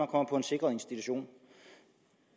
kommer på en sikret institution